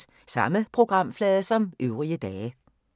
Samme programflade som øvrige dage